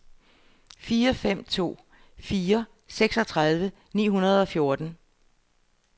fire fem to fire seksogtredive ni hundrede og fjorten